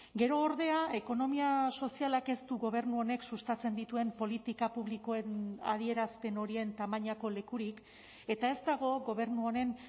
gero ordea ekonomia sozialak ez du gobernu honek sustatzen dituen politika publikoen adierazpen horien tamainako lekurik eta ez dago gobernu honen